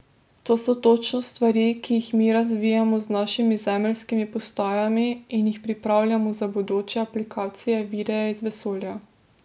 To so točno stvari, ki jih mi razvijamo z našimi zemeljskimi postajami in jih pripravljamo za bodoče aplikacije videa iz vesolja.